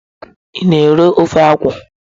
Ị na-eri ofe akwụ?